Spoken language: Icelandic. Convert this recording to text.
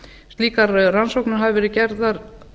slíkar rannsóknir hafi verið gerðar